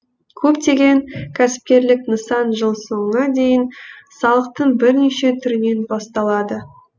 көптеген кәсіпкерлік нысан жыл соңына дейін салықтың бірнеше түрінен басталады